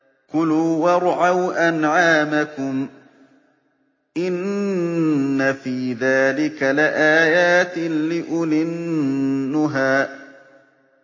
كُلُوا وَارْعَوْا أَنْعَامَكُمْ ۗ إِنَّ فِي ذَٰلِكَ لَآيَاتٍ لِّأُولِي النُّهَىٰ